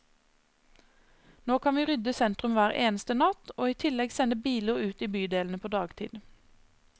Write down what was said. Nå kan vi rydde sentrum hver eneste natt, og i tillegg sende biler ut i bydelene på dagtid.